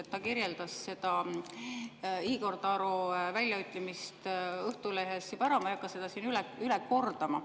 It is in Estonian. Ta juba kirjeldas seda Igor Taro väljaütlemist Õhtulehes, ma ei hakka seda üle kordama.